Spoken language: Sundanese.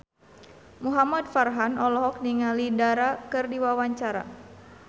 Muhamad Farhan olohok ningali Dara keur diwawancara